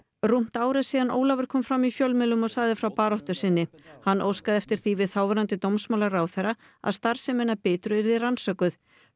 rúmt ár er síðan Ólafur kom fram í fjölmiðlum og sagði frá baráttu sinni hann óskaði eftir því við þáverandi dómsmálaráðherra að starfsemin að Bitru yrði rannsökuð